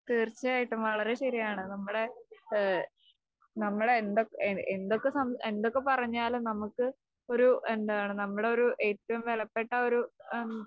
തീർച്ചയായിട്ടും വളരേ ശെരിയാണ്. നമ്മുടെ ഏഹ് നമ്മളെ എന്തൊക്കെ സം എന്തൊക്കെ പറഞ്ഞാലും നമുക്ക് ഒരു എന്താണ് നമ്മുടെ ഒരു ഏറ്റവും വിലപ്പെട്ട ഒരു ആം